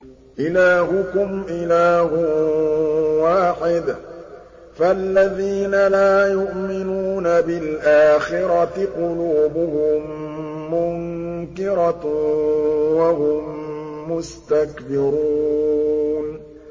إِلَٰهُكُمْ إِلَٰهٌ وَاحِدٌ ۚ فَالَّذِينَ لَا يُؤْمِنُونَ بِالْآخِرَةِ قُلُوبُهُم مُّنكِرَةٌ وَهُم مُّسْتَكْبِرُونَ